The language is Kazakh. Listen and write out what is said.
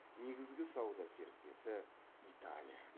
негізгі сауда серіктесі италия